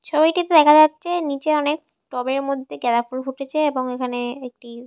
ছবিটি তো দেখা যাচ্ছে নিচে অনেক টবের মধ্যে গেদাফুল ফুটেছেএবং এখানে একটি --